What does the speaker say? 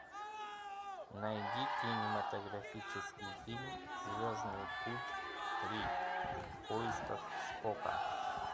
найди кинематографический фильм звездный путь три в поисках спока